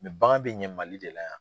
bagan bɛ ɲɛ Mali de la yan.